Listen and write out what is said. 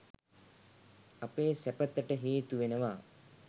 අපේ සැපතට හේතු වෙනවා.